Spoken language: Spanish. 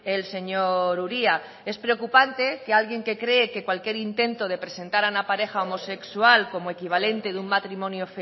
el señor uria es preocupante que alguien que cree que cualquier intento de presentar a una pareja homosexual como equivalente de un matrimonio